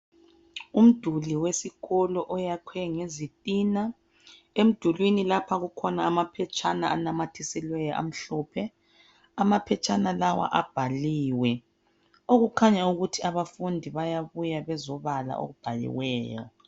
Umduli wesikolo oyakhiwe ngezitina. Emdulwini lapha kukhona amaphetshana anamathesilweyo amhlophe. Amaphetshana lawa abhaliwe ,okukhanya ukuthi abafundi bayabuya bezobala okubhaliweyo.